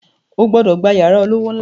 O gbọ́dọ̀ gba yàrá olówó ńlá